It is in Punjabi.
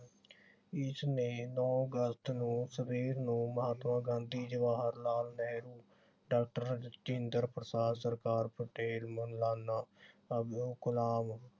ਇਸਨੇ ਨੌ ਅਗਸਤ ਨੂੰ ਸਵੇਰੇ ਨੂੰ ਮਹਾਤਮਾ ਗਾਂਧੀ, ਜਵਾਹਰ ਲਾਲ ਨਹਿਰੂ, ਡਾਕਟਰ ਰਜਿੰਦਰ ਪ੍ਰਸਾਦ, ਸਰਦਾਰ ਪਟੇਲ, ਮੌਲਾਨਾ ਅਬਦੁਲ ਕਲਾਮ